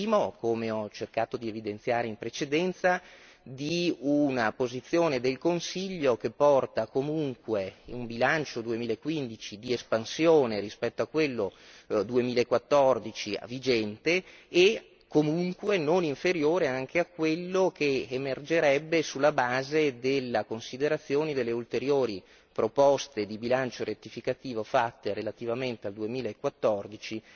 Il primo, come ho cercato di evidenziare in precedenza, di una posizione del Consiglio che porta comunque un bilancio 2015 di espansione rispetto a quello 2014 vigente e comunque non inferiore anche a quello che emergerebbe sulla base della considerazione delle ulteriori proposte di bilancio rettificativo fatte relativamente al 2014